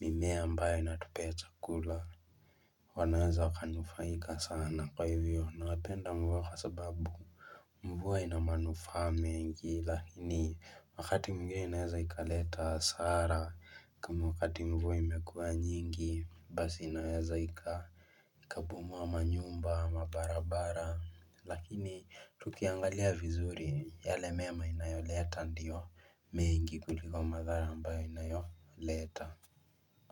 mimea ambayo inatupea chakula wanaweza wakanufaika sana kwa hivyo napenda mvua kwa sababu mvua ina manufaa mengi lakini wakati mwingne inaweza ikaleta hasara kama wakati mvuo imekuwa nyingi, basi inaweza ika ikabomoa manyumba, mabarabara Lakini tukiangalia vizuri yale mema inayoleta ndio mengi kuliko madhara ambayo inayoleta.